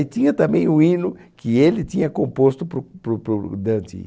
E tinha também o hino que ele tinha composto para o para o para o Dante.